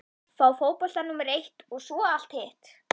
Fá fótboltann númer eitt og svo allt hitt?